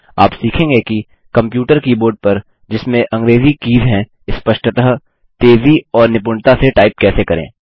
आप सीखेंगे कि कम्प्यूटर कीबोर्ड पर जिसमें अंग्रेज़ी कीज हैं स्पष्टतः तेज़ी और निपुणता से टाइप कैसे करें